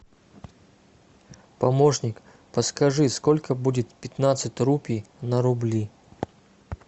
помощник подскажи сколько будет пятнадцать рупий на рубли